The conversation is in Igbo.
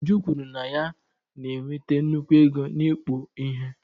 Uju kwuru na ya na-enweta nnukwu ego n'ịkpụ ihe.